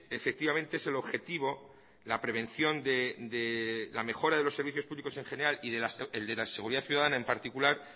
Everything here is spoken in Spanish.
efectivamente es el objetivo la prevención de la mejora de los servicios públicos en general y el de la seguridad ciudadana en particular